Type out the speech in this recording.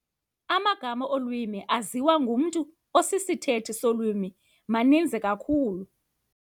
Amagama olwimi aziwa ngumntu osisithethi solwimi maninzi kakhulu.